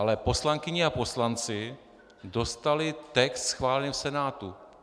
Ale poslankyně a poslanci dostali text schválený v Senátu.